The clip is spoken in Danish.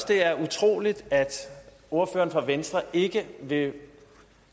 det er utroligt at ordføreren fra venstre ikke vil